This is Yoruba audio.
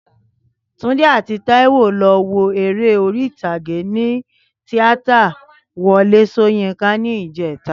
Túndé àti Báyọ̀ lọ wo eré orí ìtàgé ní tíátà Wọlé Ṣóyínká ní ìjẹ́ta